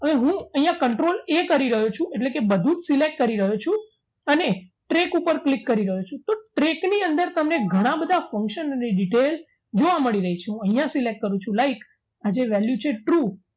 હવે હું અહીંયા control a કરી રહ્યો છું એટલે બધું select કરી રહ્યો છું અને track ઉપર click કરી રહ્યો છું track ની અંદર તમને ઘણા બધા function નો ની detail જોવા મળી રહી છે અહીંયા select કરું છું like આ જે value છે true